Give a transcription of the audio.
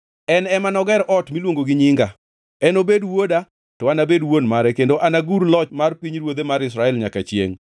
En ema noger ot miluongo gi Nyinga. Enobed wuoda, to anabed wuon mare kendo anagur loch mar pinyruodhe mar Israel nyaka chiengʼ.’